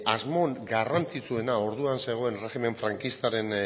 asmo garrantzitsuena orduan zegoen erregimen frankistaren